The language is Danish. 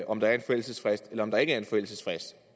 om der er en forældelsesfrist eller der ikke er en forældelsesfrist